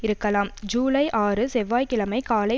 இருக்கலாம் ஜூலை ஆறு செவ்வாய்கிழமை காலை